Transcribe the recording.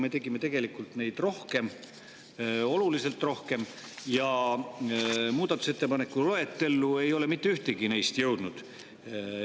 Me tegime tegelikult neid rohkem, oluliselt rohkem, kuid muudatusettepanekute loetellu ei ole mitte ühtegi neist jõudnud.